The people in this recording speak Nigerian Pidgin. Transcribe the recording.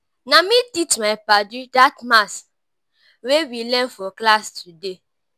na me teach my paddy dat maths wey we learn for class today.